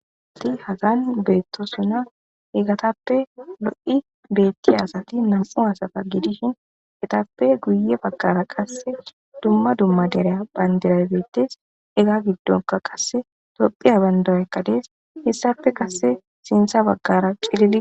Ati hagan beetto sona egatappe do7i beetti asati nam7u hasafa gidishin etappe guye baggara qasse dumma dumma dereya bhayndira beettes ega giddonka qasse tophiya bandaraekkadees hessafe kasse sintha baggara cilidi.